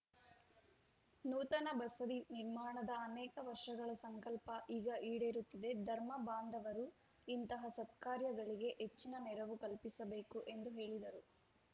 ನೂತನ ಬಸದಿ ನಿರ್ಮಾಣದ ಅನೇಕ ವರ್ಷಗಳ ಸಂಕಲ್ಪ ಈಗ ಈಡೇರುತ್ತಿದೆ ಧರ್ಮ ಬಾಂಧವರು ಇಂತಹ ಸತ್ಕಾರ್ಯಗಳಿಗೆ ಹೆಚ್ಚಿನ ನೆರವು ಕಲ್ಪಿಸಬೇಕು ಎಂದು ಹೇಳಿದರು